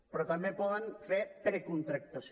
però també poden fer precontractació